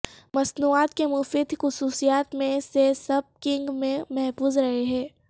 مصنوعات کے مفید خصوصیات میں سے سب کیننگ میں محفوظ رہے ہیں